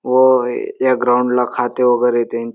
व या ग्राऊंड ला खाते वगैरे देईन.